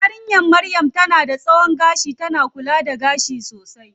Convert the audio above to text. Yarinya maryam tana da tsawon gashi, tana kula da gashin sosai.